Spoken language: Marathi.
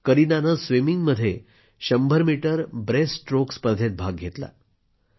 करीनाने स्विमिंगमध्ये 100 मीटर ब्रेस्टस्ट्रोक स्पर्धेत भाग घेतला